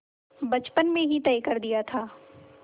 बचपन में ही तय कर दिया था